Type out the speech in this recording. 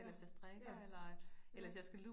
Ja, ja, ja